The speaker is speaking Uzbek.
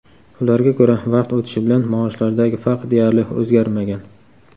Ularga ko‘ra, vaqt o‘tishi bilan maoshlardagi farq deyarli o‘zgarmagan.